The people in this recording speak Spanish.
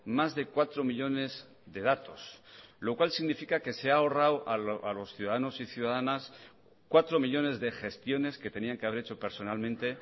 más de cuatro millónes de datos lo cual significa que se ha ahorrado a los ciudadanos y ciudadanas cuatro millónes de gestiones que tenían que haber hecho personalmente